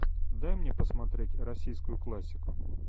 дай мне посмотреть российскую классику